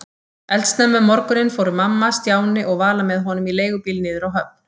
Eldsnemma um morguninn fóru mamma, Stjáni og Vala með honum í leigubíl niður á höfn.